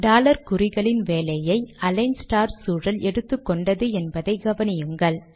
dollar குறிகளின் வேலையை align star சூழல் எடுத்துக்கொண்டது என்பதை கவனியுங்கள்